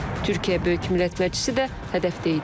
Türkiyə Böyük Millət Məclisi də hədəfdə idi.